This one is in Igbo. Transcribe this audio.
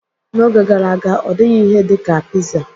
N'oge gara aga, ọ dịghị ihe dị ka pizza.